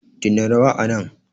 dena rawa anan